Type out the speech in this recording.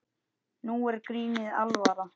Nú er grínið alvara.